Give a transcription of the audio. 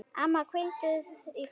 Amma, hvíldu í friði.